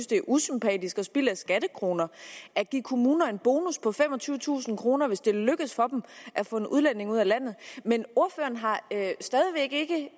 det er usympatisk og spild af skattekroner at give kommuner en bonus på femogtyvetusind kr hvis det lykkes for dem at få en udlænding ud af landet men ordføreren har stadig væk ikke